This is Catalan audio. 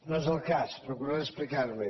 no és el cas procuraré explicarme